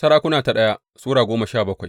daya Sarakuna Sura goma sha bakwai